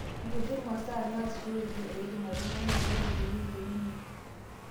Nkutii masaa naasishoreki eidim oltung'ani aing'oru peyie eiterunyie.